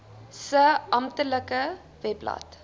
se amptelike webblad